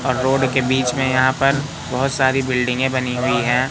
और रोड के बीच में यहां पर बहुत सारी बिल्डिंगें बनी हुई हैं।